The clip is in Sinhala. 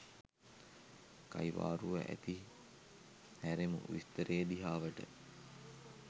කයිවාරුව ඇති හැරෙමු විස්තරය දිහාවට.